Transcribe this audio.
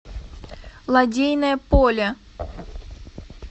лодейное поле